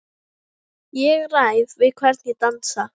Ég ræð við hvern ég dansa,